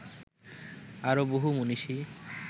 আরও বহু মনীষী